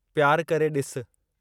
प्यार करे ॾिसु